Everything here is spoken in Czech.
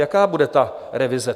Jaká bude ta revize?